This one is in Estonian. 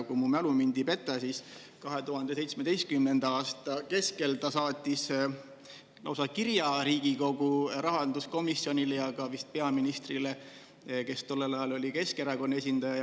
Kui mu mälu mind ei peta, siis 2017. aasta keskel saatis ta lausa kirja Riigikogu rahanduskomisjonile ja vist ka peaministrile, kelleks tol ajal oli Keskerakonna esindaja.